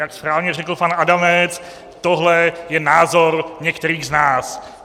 Jak správně řekl pan Adamec, tohle je názor některých z nás.